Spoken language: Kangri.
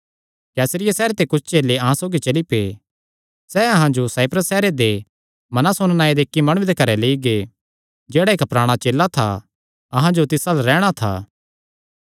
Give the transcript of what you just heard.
कैसरिया सैहरे ते कुच्छ चेले अहां सौगी चली पै सैह़ अहां जो साइप्रस सैहरे दे मनासोन नांऐ दे इक्क माणुये दे घर लेई गै जेह्ड़ा इक्क पराणा चेला था अहां जो तिस अल्ल रैहणा था